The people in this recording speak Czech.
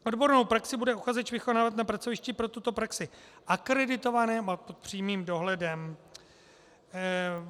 Odbornou praxi bude uchazeč vykonávat na pracovišti pro tuto praxi akreditovaném a pod přímým dohledem.